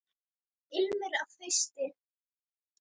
Ilmur af hausti!